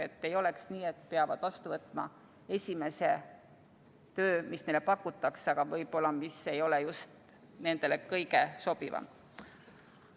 Et ei oleks nii, et nad peavad vastu võtma esimese töö, mis neile pakutakse, aga mis võib-olla ei ole nendele just kõige sobivam.